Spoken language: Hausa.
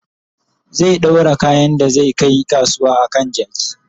zai ɗaura kayan da zai Kai kasuwa a kan jaki